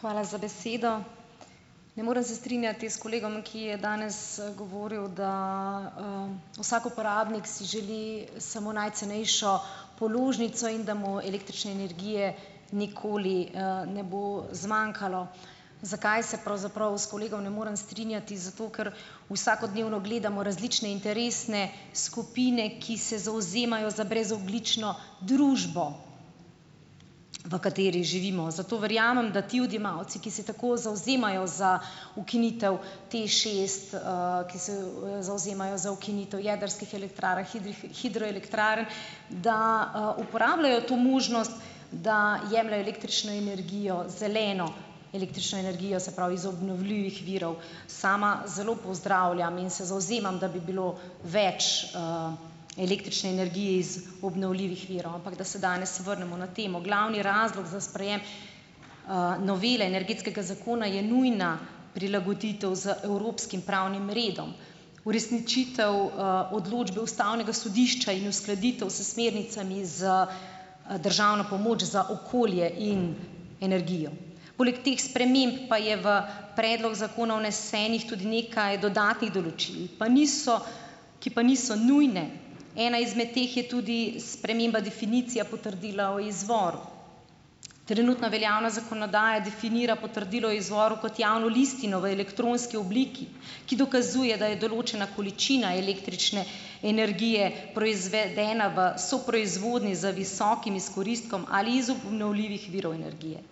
Hvala za besedo. Ne morem se strinjati s kolegom, ki je danes, govoril, da, vsak uporabnik si želi samo najcenejšo položnico in da mu električne energije nikoli, ne bo zmanjkalo. Zakaj se pravzaprav s kolegom ne morem strinjati? Zato, ker vsakodnevno gledamo različne interesne skupine, ki se zavzemajo za brezogljično družbo, v kateri živimo, zato verjamem, da ti odjemalci, ki se tako zavzemajo za ukinitev TEŠ šest, ki se zavzemajo za ukinitev jedrskih elektrarn, hidroelektrarn, da, uporabljajo to možnost, da jemljejo električno energijo, zeleno električno energijo, se pravi iz obnovljivih virov. Sama zelo pozdravljam in se zavzemam, da bi bilo več, električne energije iz obnovljivih virov, ampak da se danes vrnemo na temo. Glavni razlog za sprejem, novele Energetskega zakona je nujna prilagoditev z evropskim pravnim redom, uresničitev, odločbe ustavnega sodišča in uskladitev s smernicami za, državno pomoč za okolje in energijo. Poleg teh sprememb pa je v predlog zakona vnesenih tudi nekaj dodatnih določil, pa niso, ki pa niso nujne. Ena izmed teh je tudi sprememba definicije potrdila o izvoru. Trenutno veljavna zakonodaja definira potrdilo o izvoru kot javno listino v elektronski obliki, ki dokazuje, da je določena količina električne energije proizvedena v soproizvodnji z visokim izkoristkom ali iz obnovljivih virov energije.